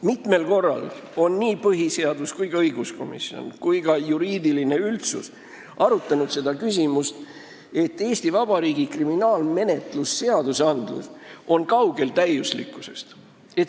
Mitmel korral on põhiseaduskomisjon, õiguskomisjon ja ka juriidiline üldsus arutanud seda küsimust, et Eesti Vabariigi kriminaalmenetlusõigus on täiuslikkusest kaugel.